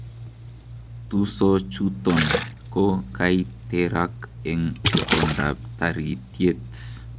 Tisochuton ko kaiterak en itondab taritiet.